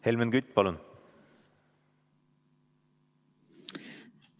Helmen Kütt, palun!